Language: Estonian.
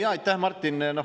Jaa, aitäh, Martin!